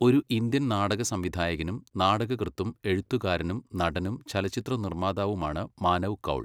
ഒരു ഇന്ത്യൻ നാടക സംവിധായകനും നാടകകൃത്തും എഴുത്തുകാരനും നടനും ചലച്ചിത്ര നിർമ്മാതാവുമാണ് മാനവ് കൗൾ.